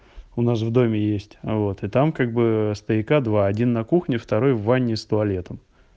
у нас в доме есть а вот и там как бы стояка два один на кухне второй в ванне с туалетом